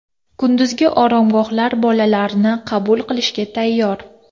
Kunduzgi oromgohlar bolalarni qabul qilishga tayyor.